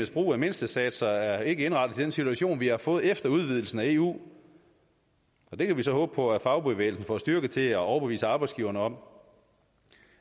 brug af mindstesatser er ikke indrettet til den situation vi har fået efter udvidelsen af eu det kan vi så håbe på at fagbevægelsen får styrke til at overbevise arbejdsgiverne om